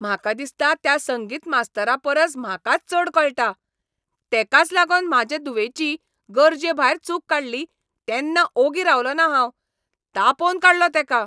म्हाका दिसता त्या संगीत मास्तरा परस म्हाकाच चड कळटा, तेकाच लागोन म्हाजे धुवेची गरजेभायर चूक काडली तेन्ना ओगी रावलों ना हांव, तापोवन काडलो तेका.